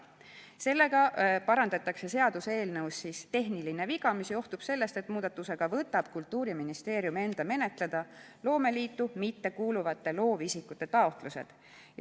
Sellega parandatakse seaduseelnõus tehniline viga, mis johtub sellest, et muudatusega võtab Kultuuriministeerium enda menetleda loomeliitu mittekuuluvate loovisikute taotlused.